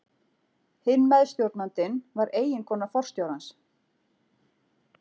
Hinn meðstjórnandinn var eiginkona forstjórans.